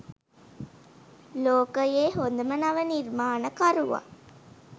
ලෝකයේ හොඳම නව නිර්මාණකරුවා